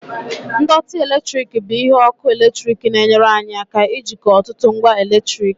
ndọtị eletrik bụ ihe ọkụ eletrik na-enyere anyị aka ijikọ ọtụtụ ngwa eletrik